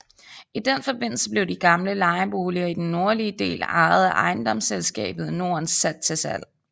I den forbindelse blev de gamle lejeboliger i den nordlige del ejet af Ejendomsselskabet Norden sat til salg